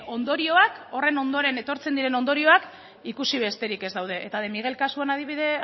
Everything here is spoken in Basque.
ondorioak horren ondoren etortzen diren ondorioak ikusi besterik ez daude eta de miguel kasuak